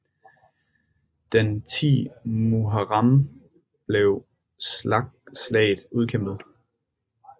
Den 10 Muharram blev slaget udkæmpet